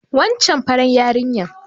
Wancan farar yarinya